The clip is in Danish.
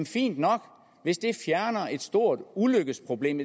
fint nok hvis det fjerner et stort ulykkesproblem